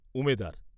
উমেদার